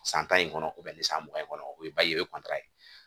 San tan in kɔnɔ ni san mugan in kɔnɔ o ye ye o ye ye.